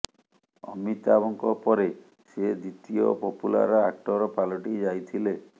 ଅମିତାଭଙ୍କ ପରେ ସେ ଦ୍ୱିତୀୟ ପପୁଲାର ଆକ୍ଟର ପାଲଟି ଯାଇଥିଲେ